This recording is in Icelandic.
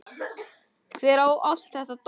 Hver á allt þetta dót?